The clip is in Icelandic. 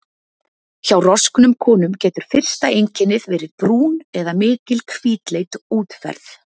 Hjá rosknum konum getur fyrsta einkennið verið brún eða mikil hvítleit útferð.